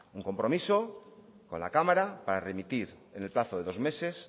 un compromiso con la cámara para remitir en el plazo de dos